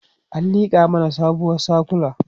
an liƙa mana sabuwar sakula